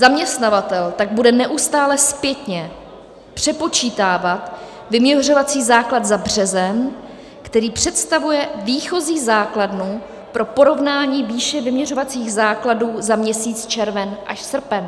Zaměstnavatel tak bude neustále zpětně přepočítávat vyměřovací základ za březen, který představuje výchozí základnu pro porovnání výše vyměřovacích základů za měsíc červen až srpen.